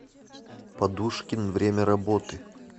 подушкин время работы